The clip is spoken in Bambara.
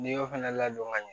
N'i y'o fana ladon ka ɲɛ